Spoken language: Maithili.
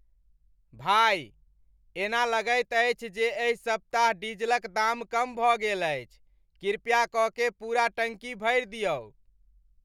भाई, एना लगैत अछि जे एहि सप्ताह डीजलक दाम कम भऽ गेल अछि। कृपा क के पूरा टंकी भरि दियौ।